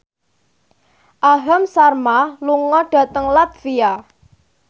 Aham Sharma lunga dhateng latvia